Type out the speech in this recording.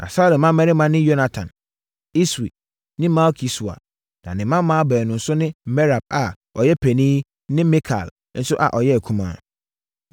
Na Saulo mmammarima ne Yonatan, Iswi ne Malki-Sua na ne mmammaa baanu nso ne Merab a ɔyɛ panin ne Mikal nso a ɔyɛ akumaa.